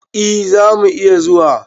E, za mu iya zuwa.